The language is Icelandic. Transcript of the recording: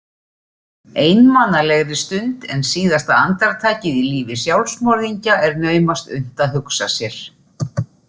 Einmanalegri stund en síðasta andartakið í lífi sjálfsmorðingja er naumast unnt að hugsa sér.